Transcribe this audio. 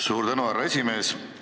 Suur tänu, härra esimees!